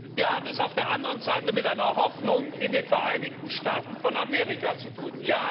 Wir haben es auf der anderen Seite mit einer Hoffnung in den Vereinigten Staaten von Amerika zu tun.